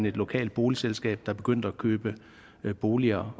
et lokalt boligselskab der begyndte at opkøbe boliger